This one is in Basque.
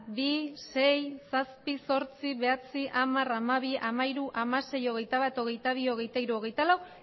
bi sei zazpi zortzi bederatzi hamar hamabi hamahiru hamasei hogeitabat hogeitabi hogeitahiru hogeitalau